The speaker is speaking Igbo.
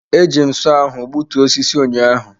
Eji m sọọ ahụ gbutuo osisi ụnyaahụ.